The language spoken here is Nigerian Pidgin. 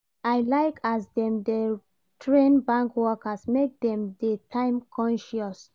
I like as dem dey train bank workers make dem dey time conscious.